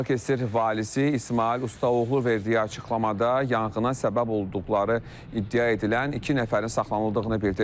Balıkəsir valisi İsmayıl Ustaoğlu verdiyi açıqlamada yanğına səbəb olduqları iddia edilən iki nəfərin saxlanıldığını bildirib.